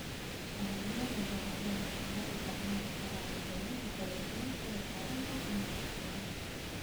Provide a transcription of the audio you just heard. Dalagyada baradhada waxaa loo isticmaali karaa cuntooyin kala duwan sida karinta ama karkarinta.